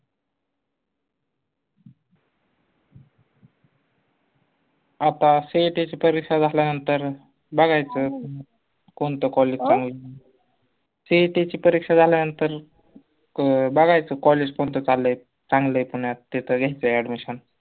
आता CET ची परीक्षा झाल्या नंतर बघायचं कोनतं college CET ची परीक्षा झाल्या नंतर बघायचं college कोणत चाललंय चांगलंय पुन्यात ते त घायचंय admission